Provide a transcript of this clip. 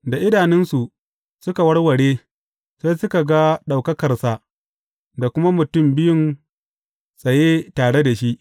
Da idanunsu suka warware, sai suka ga ɗaukakarsa da kuma mutum biyun tsaye tare da shi.